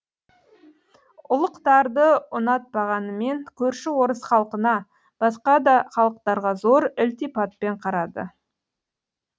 ұлықтарды ұнатпағанымен көрші орыс халқына басқа да халықтарға зор ілтипатпен қарады